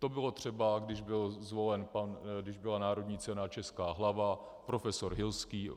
To bylo třeba, když byla národní cena Česká hlava, profesor Hilský.